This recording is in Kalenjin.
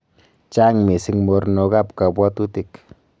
Chaang misiing mornok ab kabwatutik